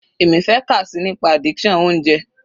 Èmi fẹ́ kà síi nípa addiction oúnjẹ.